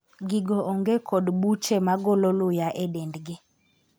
gigo onge kod buche magolo luya e dendgi